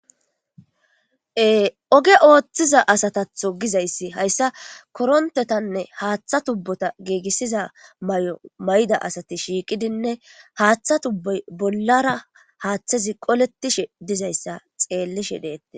Oge ooththiza asatatho gizayssi hayssa korontetanne haaththa tubbota giigissiza may7o may7da asati shiiqidinne haaththa tubboy bollara haaththezi qoletishe dizayssa xeellishe deette.